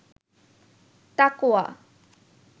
তাকওয়া